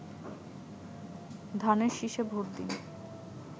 ধানের শিষে ভোট দিন